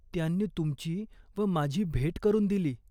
त्यांनी तुमची व माझी भेट करून दिली.